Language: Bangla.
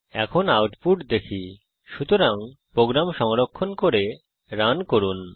এখন আউটপুট দেখি সুতরাং প্রোগ্রাম সংরক্ষণ করে রান করুন